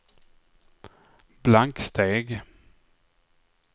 blanksteg